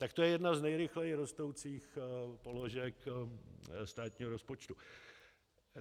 Tak to je jedna z nejrychleji rostoucích položek státního rozpočtu.